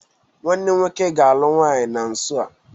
Nwanne m nwoke ga-alụ nwaanyị na nso a.